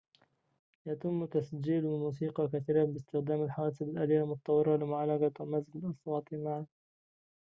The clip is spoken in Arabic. يتم تسجيل الموسيقى كثيراً باستخدام الحواسب الآليّة المتطوّرة لمعالجة ومزج الأصوات معاً